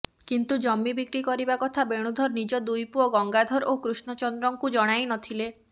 କିନ୍ତୁ ଜମି ବିକ୍ରି କରିବା କଥା ବେଣୁଧର ନିଜ ଦୁଇ ପୁଅ ଗଙ୍ଗାଧର ଓ କୃଷ୍ଣଚନ୍ଦ୍ରଙ୍କୁ ଜଣାଇ ନଥିଲେ